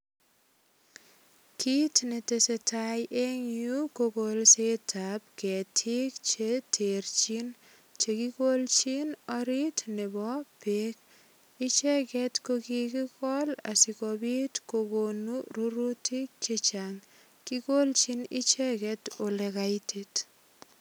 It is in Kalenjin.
Kit netesetai eng yu ko kolsetab ketik che terchin che kikolchin orit nebo beek. Icheget ko kikigol asigopit kokonu rurutik che chang. Kikolchin icheget olegaitit.